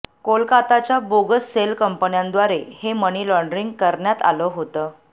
कोलकाताच्या bogus shell कंपन्यांद्वारे हे मनी लॉंडरिंग करण्यात आलं होतं